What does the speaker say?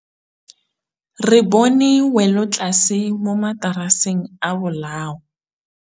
Re bone wêlôtlasê mo mataraseng a bolaô.